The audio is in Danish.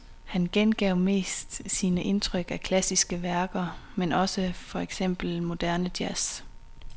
Han gengav mest sine indtryk af klassiske værker, men også for eksempel moderne jazz.